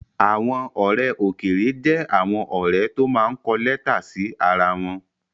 Àwọn ọ̀rẹ́ òkèèrè jẹ́ àwọn ọ̀rẹ́ tó máa ń kọ lẹ́tà sí ara wọn